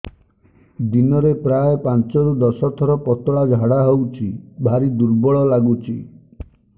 ଦିନରେ ପ୍ରାୟ ପାଞ୍ଚରୁ ଦଶ ଥର ପତଳା ଝାଡା ହଉଚି ଭାରି ଦୁର୍ବଳ ଲାଗୁଚି